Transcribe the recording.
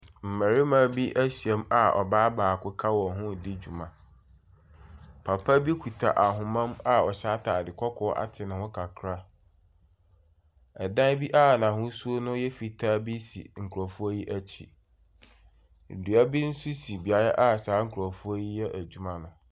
Mmɛrima bi ahyiam a ɔbaa baako ka wɔn ho di dwuma. Papa bi kuta ahoma mu a ɔhyɛ ataade kɔkɔɔ ate ne ho kakra. Ɛdan bi a n'ahosuo no yɛ fitaa bi si nkurofoɔ yi akyi. Dua bi nso si beaeɛ a saa nkurɔfoɔ yi yɛ adwuma no.